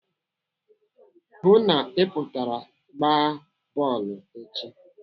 Hụụ na Ị pụtara gbaa bọọlụ echi!